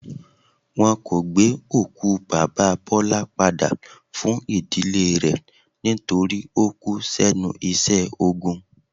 Wọn kò gbé òkú Baba Bọlá padà fún ìdílé rẹ̀ nítorí ó kú s'ẹ́nu iṣẹ́ ogun.